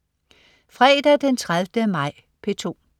Fredag den 30. maj - P2: